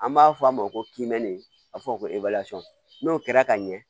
An b'a fɔ a ma ko kimɛni a fɔ ko n'o kɛra ka ɲɛ